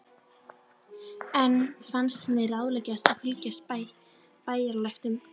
Enn fannst henni ráðlegast að fylgja bæjarlæknum.